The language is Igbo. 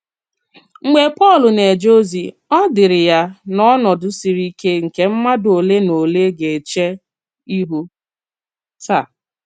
Mgbe Pọ́l nā-èjè ozi, ò dìrị ya n’ọnọdụ siri íké nke mmádụ ole na ole gā-èchè ihu taa.